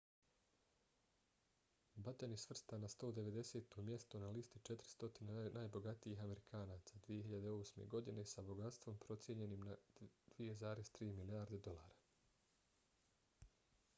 batten je svrstan na 190. mjesto na listi 400 najbogatijih amerikanaca 2008. godine sa bogatstvom procijenjenim na 2,3 milijarde dolara